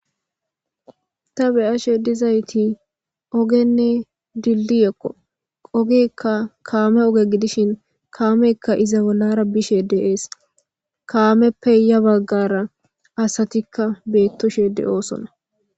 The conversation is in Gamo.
Ta beyashe dizayti ogenne dilliyekko qogikka kaame oge gidishin kaameykka iza wolara bishe deees kaameppe ya baggara asatikka beettoshe de'oosona.